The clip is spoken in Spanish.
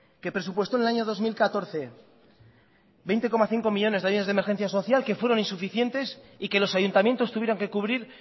que presupuestó en el año dos mil catorce veinte coma cinco millónes de ayudas de emergencia social que fueron insuficientes y que los ayuntamientos tuvieron que cubrir